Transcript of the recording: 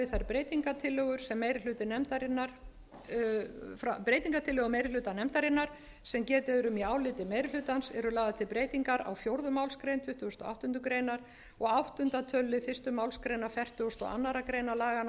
til viðbótar við þær breytingartillögur meiri hluta nefndarinnar sem getið er um í áliti meiri hlutans eru lagðar til breytingar á fjórðu málsgrein tuttugustu og áttundu greinar og áttunda töluliðar fyrstu málsgrein fertugustu og aðra grein laganna